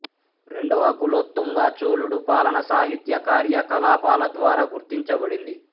రెండవ కులోత్తుంగ చోళుడు పాలన సాహిత్య కార్యకలాపాల ద్వారా గుర్తించబడింది